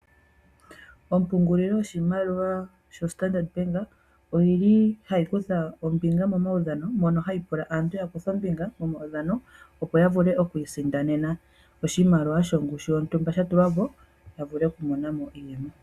Ompungulilo yoshimaliwa yoStandard Bank ohayi kutha ombinga momaudhano mono hayi pula aantu ya kuthe ombinga momaudhano, opo ya vule oku isindanena oshimaliwa shongushu yontumba sha tulwa po, ya vule okumona mo iiyemo.